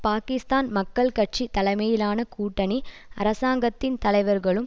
பாக்கிஸ்தான் மக்கள் கட்சி தலைமையிலான கூட்டணி அரசாங்கத்தின் தலைவர்களும்